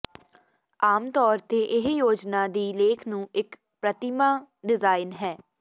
ਆਮ ਤੌਰ ਤੇ ਇਹ ਯੋਜਨਾ ਦੀ ਲੇਖ ਨੂੰ ਇੱਕ ਪ੍ਰਤਿਮਾ ਡਿਜ਼ਾਇਨ ਹੈ